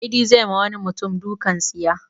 Idi zai ma wani mutum dukan tsiya.